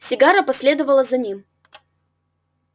сигара последовала за ним